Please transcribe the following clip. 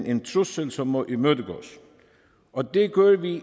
en trussel som må imødegås og det gør vi